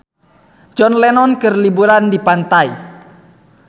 John Lennon keur liburan di pantai